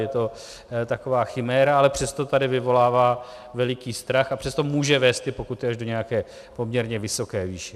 Je to taková chiméra, ale přesto tady vyvolává veliký strach a přesto může vést ty pokuty až do nějaké poměrně vysoké výše.